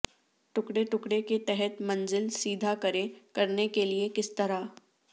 ٹکڑے ٹکڑے کے تحت منزل سیدھ کریں کرنے کے لئے کس طرح